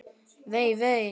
Vei, vei.